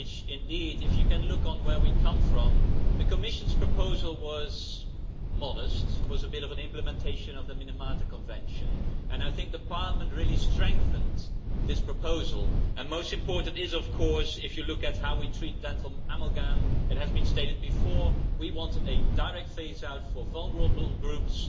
Indeed, if you can look on where we come from, the Commission's proposal was modest it was a bit of an implementation of the Minamata Convention and I think the Parliament really strengthened this proposal. Most important is, of course, if you look at how we treat dental amalgam it has been stated before we want a direct phase out for vulnerable groups.